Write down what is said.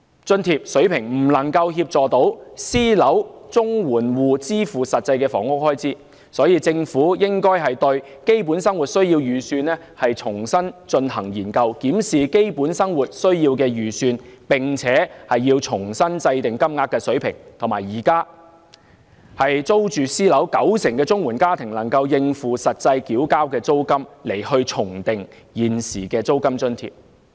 津貼水平未能協助私樓綜援戶支付實際的房屋開支，有見及此，政府應該重新研究"基本生活需要預算"，透過檢視"基本生活需要預算"，重新制訂金額的水平，並且以現時租住私樓的綜援家庭能夠應付實際繳交的租金的九成為目標，重訂現時的租金津貼。